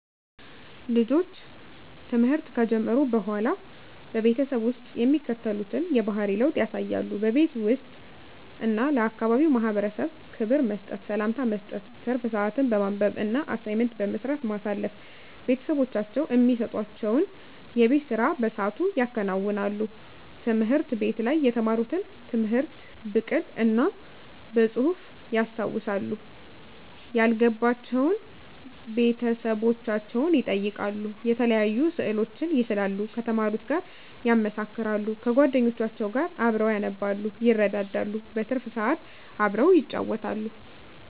ልጆች ትምህርት ከጀመሩ በሆላ በቤተሰብ ውስጥ የሚከተሉትን የባህሪ ለውጥ ያሳያሉ:-በቤት ውስጥ እና ለአካባቢው ማህበረሰብ ክብር መስጠት፤ ሰላምታ መስጠት፤ ትርፍ ስአትን በማንበብ እና አሳይመንት በመስራት ማሳለፍ፤ ቤተሰቦቻቸው እሚሰጡዋቸውን የቤት ስራ በስአቱ ያከናውናሉ፤ ትምህርት ቤት ላይ የተማሩትን ትምህርት ብቅል እና በጹህፍ ያስታውሳሉ፤ ያልገባቸውን ቤተሰቦቻቸውን ይጠይቃሉ፤ የተለያዩ ስእሎችን ይስላሉ ከተማሩት ጋር ያመሳክራሉ፤ ከጎደኞቻቸው ጋር አብረው ያነባሉ ይረዳዳሉ። በትርፍ ስአት አብረው ይጫወታሉ።